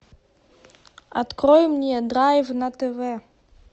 открой мне драйв на тв